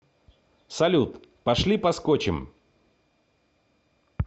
салют пошли поскочем